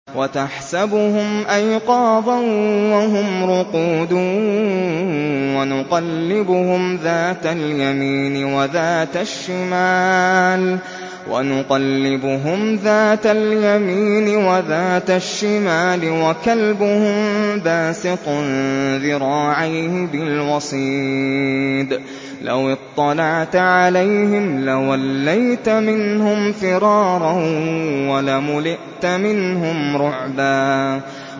وَتَحْسَبُهُمْ أَيْقَاظًا وَهُمْ رُقُودٌ ۚ وَنُقَلِّبُهُمْ ذَاتَ الْيَمِينِ وَذَاتَ الشِّمَالِ ۖ وَكَلْبُهُم بَاسِطٌ ذِرَاعَيْهِ بِالْوَصِيدِ ۚ لَوِ اطَّلَعْتَ عَلَيْهِمْ لَوَلَّيْتَ مِنْهُمْ فِرَارًا وَلَمُلِئْتَ مِنْهُمْ رُعْبًا